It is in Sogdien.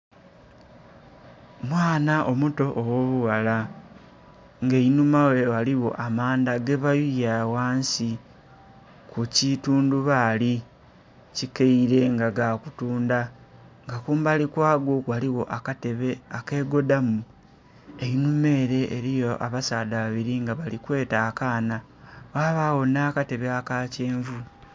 Omwaana omuto ogho bughala nga einhuma ghe eriyo mandha ge bayuye agho ghansi ku kitundhubali ekikaire nga kutundha nga kumbali kwago, ghaligho akatebe ekegodhamu, einhuma ere eriyo abasaadha babiri nga bali kweta akaana ghabagho nha katebe aka kyenvu.